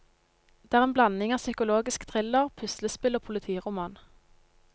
Det er en blanding av psykologisk thriller, puslespill og politiroman.